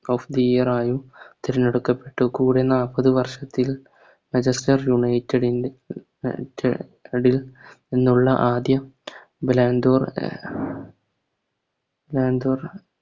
Of the year ആയും തിരഞ്ഞെടുക്കപ്പെട്ടു കൂടെ നാപ്പത് വർഷത്തിൽ Manchester united ൽ നിന്നുള്ള ആദ്യ ലാൻഡോർ ലാൻഡോർ